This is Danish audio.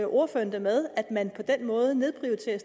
ordføreren det med at man på den måde nedprioriterer